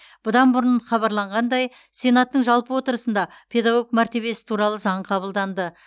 бұдан бұрын хабарланғандай сенаттың жалпы отырысында педагог мәртебесі туралы заң қабылданды